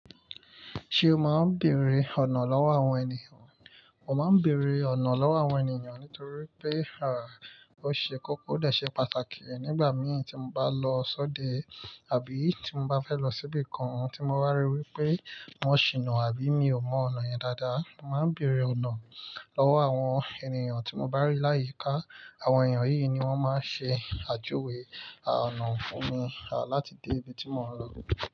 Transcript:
Ṣé o máa ń bèèrè ọ̀nà lọ́wọ́ àwọn ènìyàn? Mo máa ń bèèrè ọ̀nà lọ́wọ́ àwọn ènìyàn nítorí pé, à, ó ṣe kókó o dẹ̀ ṣe pàtàkì. Nígbà mìí tí mo bá lọ sóde àbí tí mo bá fẹ́ lọ síbi kan tí mo bá ríi wí pé wọ́n ṣìnà àbí mi ò mọ ọ̀nà yẹn dáadáa, mo máa ń bèèrè ọ̀nà lọ́wọ́ àwọn ènìyàn tí mo bá rí láyìíká. Àwọn èèyàn yíi ni wọ́n máa ń ṣe àjuwé àà ọ̀nà fún mi, à, láti dé ibi tí mò ń lọ.